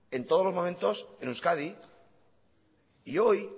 en todos los momentos en euskadi y hoy